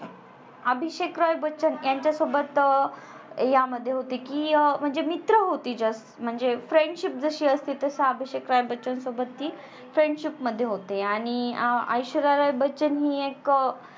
अभिषेक रॉय बच्चन यांच्या सोबत यामध्ये होते कि अं म्हणजे मित्र होती Just म्हणजे friendship जशी असते तास अभिषेक रॉय बच्चन सोबत ती friendship मध्ये होती आणि आ ऐश्वर्या रॉय बच्चन हि एक